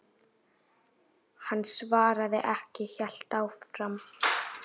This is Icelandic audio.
Hann svaraði ekki, hélt áfram.